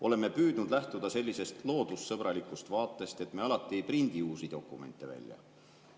Oleme püüdnud lähtuda sellisest loodussõbralikust vaatest, et me alati ei prindi uusi dokumente välja.